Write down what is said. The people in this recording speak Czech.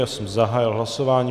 Já jsem zahájil hlasování.